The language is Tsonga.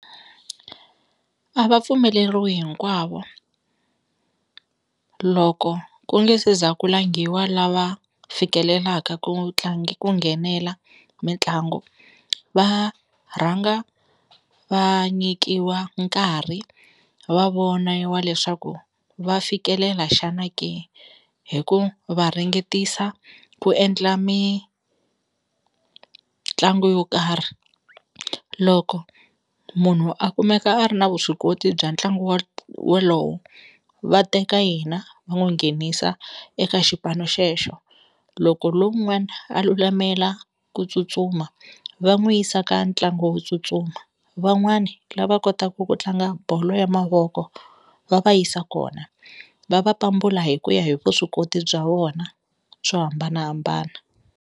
A va pfumeleriwi hinkwavo loko ku nge se za ku langiwa lava fikelelaka ku ku nghenela mitlangu, va rhanga va nyikiwa nkarhi va voniwa leswaku va fikelela xana ke hi ku va ringetisa ku endla mitlangu yo karhi loko munhu a kumeka a ri na vuswikoti bya ntlangu wolowo va teka yena va n'wi nghenisa eka xipano xexo loko lowun'wani a lulamela ku tsutsuma va n'wu yisa ka ntlangu wo tsutsuma van'wani lava kotaka ku tlanga bolo ya mavoko va va yisa kona va va pambula hi ku ya hi vuswikoti bya vona byo hambanahambana.